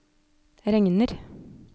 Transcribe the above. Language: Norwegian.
regner